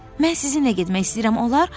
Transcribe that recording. Mən sizinlə getmək istəyirəm, olar?